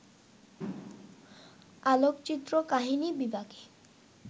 আলোকচিত্র কাহিনী বিভাগে